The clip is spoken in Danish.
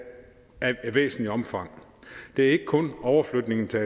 væsentligt omfang det er ikke kun overflytningen til